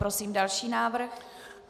Prosím další návrh.